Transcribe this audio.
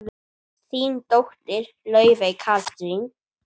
Þín dóttir, Laufey Katrín.